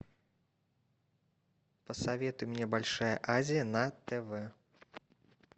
посоветуй мне большая азия на тв